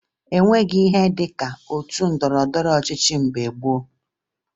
O nweghi ihe dị ka otu ndọrọndọrọ ọchịchị mgbe gboo